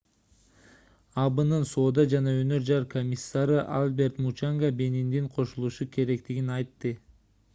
абнын соода жана өнөр жай комиссары альберт мучанга бениндин кошулушу керектигин айтты